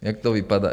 Jak to vypadá?